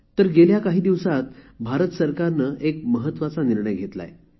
तर गेल्या काही दिवसात भारत सरकारने एक महत्वाचा निर्णय घेतला आहे